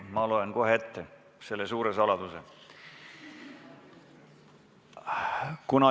Ma loen kohe ette selle suure saladuse.